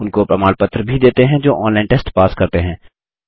उनको प्रमाण पत्र भी देते हैं जो ऑनलाइन टेस्ट पास करते हैं